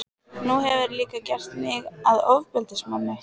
Nú hefurðu líka gert mig að ofbeldismanni.